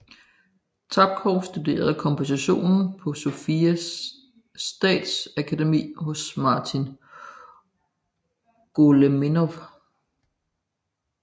Tapkov studerede komposition på Sofia Statsakademi hos Marin Goleminov